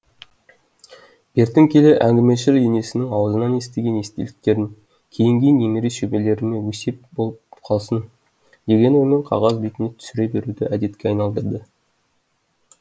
бертін келе әңгімешіл енесінің аузынан естіген естеліктерін кейінгі немере шөберелеріме өсиет болып қалсын деген оймен қағаз бетіне түсіре беруді әдетке айналдырды